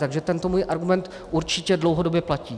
Takže tento můj argument určitě dlouhodobě platí.